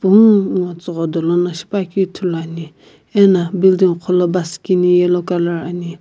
pungu ngo tsugho dolo no shipuakeu ithuluani ena building qholo bus kini yellow color ani.